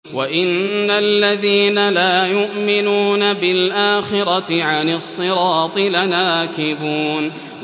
وَإِنَّ الَّذِينَ لَا يُؤْمِنُونَ بِالْآخِرَةِ عَنِ الصِّرَاطِ لَنَاكِبُونَ